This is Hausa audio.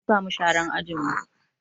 An sa mu sharan ajin mu